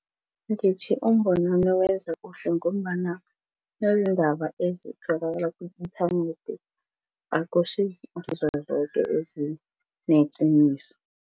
Ngithi lo wenza kuhle ngombana ezitholakala ku-inthanethi zoke ezineqiniso.